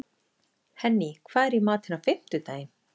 Henný, hvað er í matinn á fimmtudaginn?